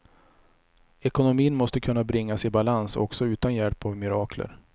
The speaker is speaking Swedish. Ekonomin måste kunna bringas i balans också utan hjälp av mirakler.